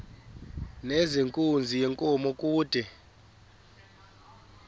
nezenkunzi yenkomo kude